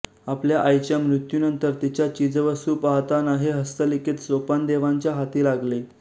आपल्या आईच्या मृत्यूनंतर तिच्या चीजवस्तू पाहताना हे हस्तलिखित सोपानदेवांच्या हाती लागले